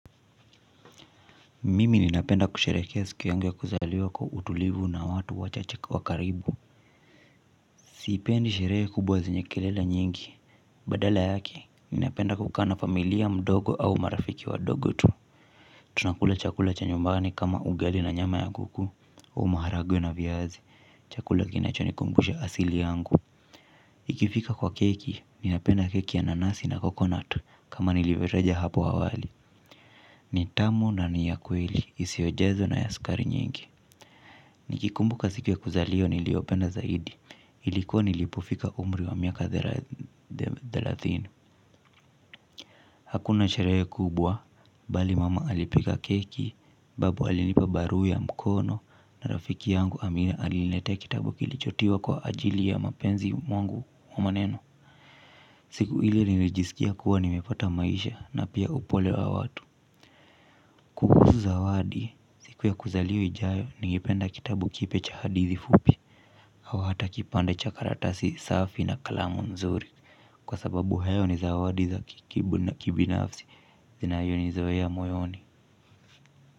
Mimi ninapenda kusherehekea siku yangu ya kuzaliwa kwa utulivu na watu wachache wa karibu. Sipendi sherehe kubwa zenye kelele nyingi. Badala yake ninapenda kukaa na familia mdogo au marafiki wadogo tu. Tunakula chakula cha nyumbani kama ugali na nyama ya kuku maharagwe na viazi chakula kinachonikumbusha asili yangu ikifika kwa keki ninapenda keki ya nanasi na coconut kama nilivyotaja hapo hawali. Ni tamu na ni ya kweli isiyo jazwa na ya sukari nyingi. Nikikumbuka siku ya kuzaliwa niliopenda zaidi ilikuwa nilipofika umri wa miaka thelathini hakuna sherehe kubwa bali mama alipika keki. Babu alinipa barua ya mkono na rafiki yangu Amina aliniletea kitabu kilicho tiwa kwa ajili ya mapenzi mwangu wa maneno. Siku hili nilijisikia kuwa nimepata maisha na pia upole wa watu. Kuhusu zawadi siku ya kuzaliwa ijayo ningependa kitabu kipya cha hadithi fupi au hata kipande cha karatasi safi na kalamu nzuri. Kwa sababu hayo ni zawadi za kibinafsi zinayo ni zoea moyoni.